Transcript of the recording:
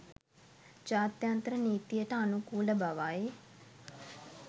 ජාත්‍යන්තර නීතියට අනුකූල බවයි